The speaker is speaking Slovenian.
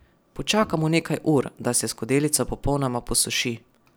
Počakamo nekaj ur, da se skodelica popolnoma posuši.